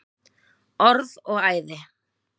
Orð og æði.